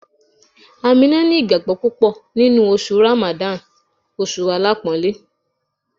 Aminu ni ìgbàgbọ́ púpọ̀ Ramadan, oṣù alápọ̀ńlé.